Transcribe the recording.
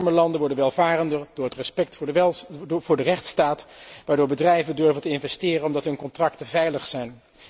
Arme landen worden welvarender door het respect voor de rechtsstaat, waardoor bedrijven durven te investeren, omdat hun contracten veilig zijn.